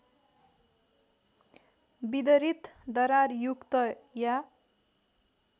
विदरित दरारयुक्त या